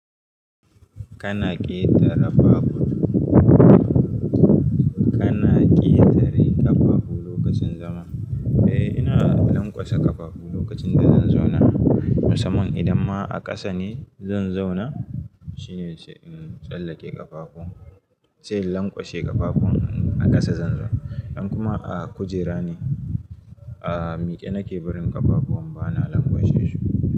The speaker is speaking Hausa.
Kana ƙetare ƙafafu, kana ƙetare ƙafafu lokacin zama? Eh, ina lanƙwasa ƙafafu lokacin da zan zauna. Musamman idan ma a ƙasa ne zan zauna shine sai in tsallake ƙafafu, sai in lanƙwashe ƙafafun in a ƙasa zan zauna. In kuma a kujera ne, a miƙe nake barin ƙafafu bana lanƙwashe shi ba.